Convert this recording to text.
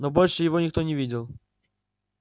но больше его никто не видел